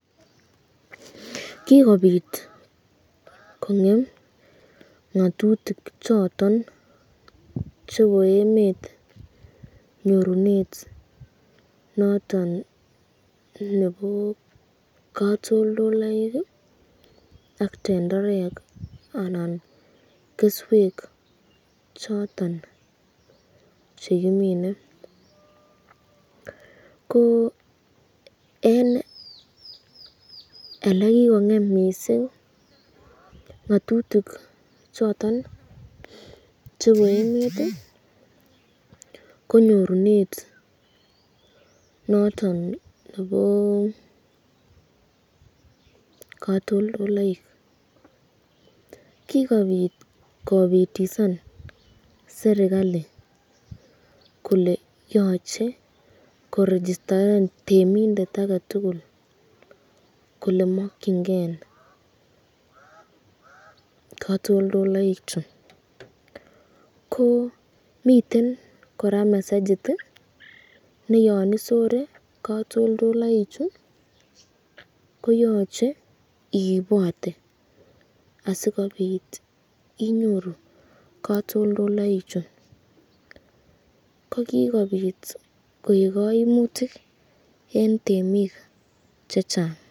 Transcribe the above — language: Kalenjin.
Kikobit kong'em ng'atutik choton chebo emet nyorunet noton nebo katoltoloik ak tenderek anan keswek choton chekimine, koo en elekikong'em missing ng'atutik choton chebo emet konyorunet noton nebo katoltoloik kikobit kobitisan serikali kole yoche korejisteren temindet agetugul kole mokyingen katoltoloichu, koo miten kora messejit neyon isore katoltoloichu koyoche iibote asikobit inyoru katoltoloichu kokikobit koik kaimutik en temik chechang'